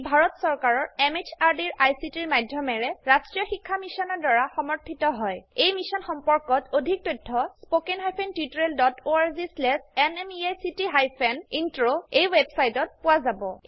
ই ভাৰত চৰকাৰৰ MHRDৰ ICTৰ মাধয়মেৰে ৰাস্ত্ৰীয় শিক্ষা মিছনৰ দ্ৱাৰা সমৰ্থিত হয় এই মিশ্যন সম্পৰ্কত অধিক তথ্য spoken hyphen tutorial dot org slash এনএমইআইচিত হাইফেন ইন্ট্ৰ ৱেবচাইটত পোৱা যাব